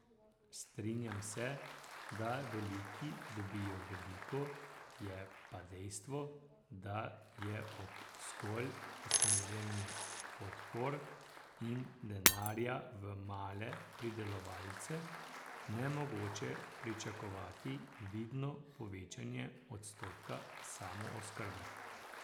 Strinjam se, da veliki dobijo veliko, je pa dejstvo, da je ob zgolj usmerjanju podpor in denarja v male pridelovalce nemogoče pričakovati vidno povečanje odstotka samooskrbe.